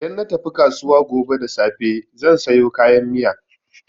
Idan na tafi kasuwa gobe da safe zan sayo kayan miya.